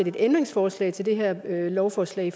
et ændringsforslag til det her lovforslag